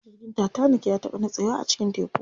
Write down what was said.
Jirgin tatanik ya taɓa nitsewa a cikin teku.